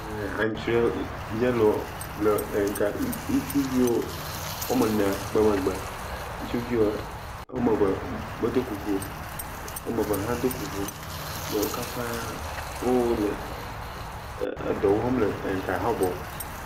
Le aŋutsrɔɛ yɛlo le eŋka, le ŋu, ŋutsuvi woame ene be megbe. ŋutsuvi woame eve medo kuku o, woame eve hã do kuku yaw ole dɔ wɔm le ŋka, Habɔ.